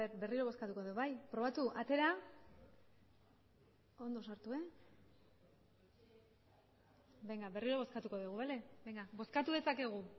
berriro bozkatuko dugu atera eta ondo sartu berriro bozkatuko dugu bozkatu dezakegu